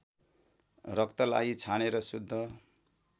रक्तलाई छानेर शुद्ध